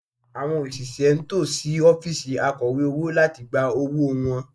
Àwọn òṣìṣẹ́ ń tò sí ọ́fíìsì Akọ̀wé owó láti gba owó wọn